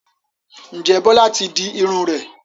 Ǹjẹ́ Bọ́lá ti di irun rẹ̀?